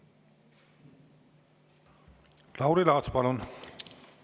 Lauri Laats, palun!